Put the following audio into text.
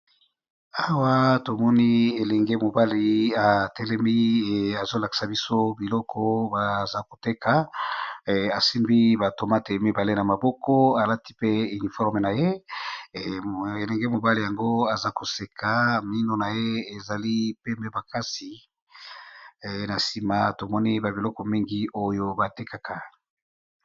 Awa tomoni elenge mobali ya telemi azolakisa biso biloko baza koteka asimbi ba tomate mibale na maboko alati pe uniforme na ye elenge mobali yango aza koseka mino na ye ezali pembe makasi na nsima tomoni ba biloko mingi oyo batekaka.